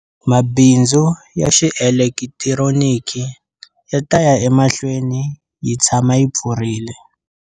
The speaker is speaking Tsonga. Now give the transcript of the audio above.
Mabindzu ya xielekitironiki ya ta ya emahlweni yi tshama yi pfurile.